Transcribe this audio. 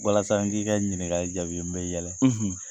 Walasa n k'i ka ɲininkali jaabi n bɛ yɛlɛ.